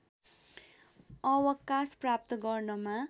अवकाश प्राप्त गर्नमा